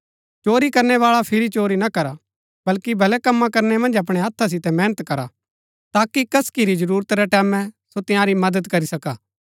चोरी करनै बाळा फिरी चोरी ना करा बल्‍की भले कम्मा करनै मन्ज अपणै हथा सितै मेहनत करा ताकि कसकि री जरूरत रै टैमैं सो तंयारी मदद करी सका